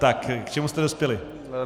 Tak k čemu jste dospěli?